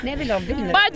Nə bilim, bilmirəm.